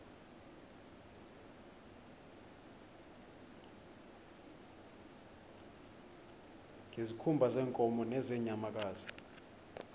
ngezikhumba zeenkomo nezeenyamakazi